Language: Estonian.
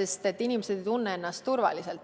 sest inimesed ei tunne ennast enam turvaliselt.